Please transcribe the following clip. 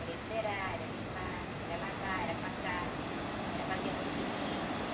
Era encerar, era limpar, era lavar, era passar, era fazer uma comidinha.